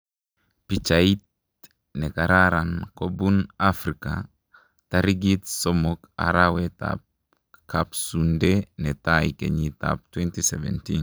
Pichait nekararn kobun Afrika; tarikit somok arawet ab kapsunde netai kenyit ab 2017